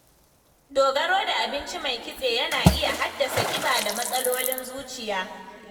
Dogaro da abinci mai kitse yana iya haddasa kiba da matsalolin zuciya.